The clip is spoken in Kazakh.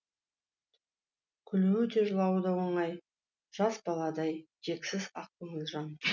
күлуі де жылауы да оңай жас баладай кексіз ақ көңіл жан